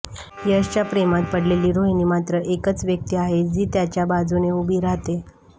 यशच्या प्रेमात पडलेली रोहिणी मात्र एकच व्यक्ती आहे जी त्याच्या बाजूने उभी राहते